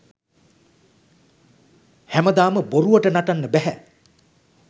හැමදාම බොරුවට නටන්න බැහැ.